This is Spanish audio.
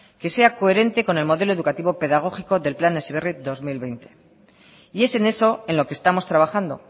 que sea coherente con el modelo educativo pedagógico del plan heziberri dos mil veinte y es en eso en lo que estamos trabajando